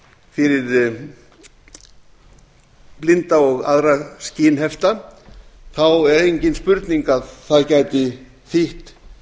fyrir blinda og aðra skynhefta er engin spurning að það gæti þýtt